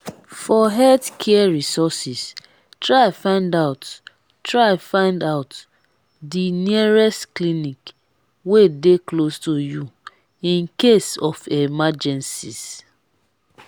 for health care resources try find out try find out di nearest clinic wey de close to you in case of emergencies